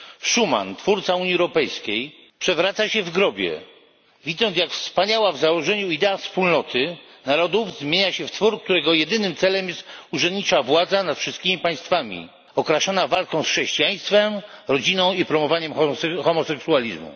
Schuman, twórca Unii Europejskiej, przewraca się w grobie, widząc jak wspaniała w założeniu idea wspólnoty narodów zmienia się w twór, którego jedynym celem jest urzędnicza władza nad wszystkimi państwami, okraszona walką z chrześcijaństwem i rodziną oraz promowaniem homoseksualizmu.